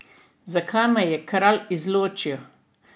Zakaj me je kralj izločil?